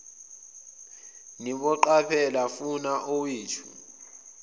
niboqaphela funa owethu